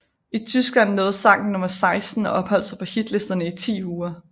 I Tyskland nåede sangen nummer 16 og opholdt sig på hitlisterne i ti uger